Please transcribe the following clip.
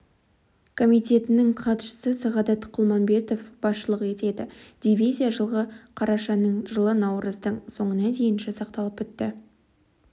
комитетінің хатшысы сағадат құлмағанбетов басшылық етеді дивизия жылғы қарашаның жылы наурыздың соңына дейін жасақталып бітті